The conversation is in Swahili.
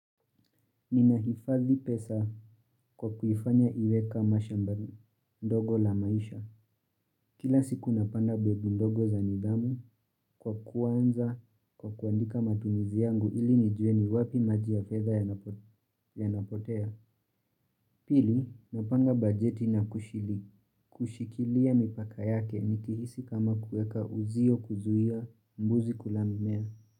Nina hifadhi pesa kwa kuifanya iwe kama shambali ndogo la maisha. Kila siku napanda mbegu ndogo za nidamu kwa kwanza kwa kuandika matumizi yangu ili nijue ni wapi majia fedha yanapotea. Pili napanga bajeti na kushili. Kushikilia mipaka yake nikihisi kama kuweka uzio kuzuia mbuzi kula mimea.